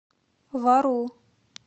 вару